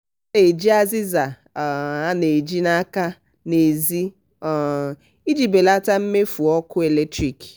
ọ na-eji azịza um a na-eji n'aka n'ezi um iji belata mmefu ọkụ latrik.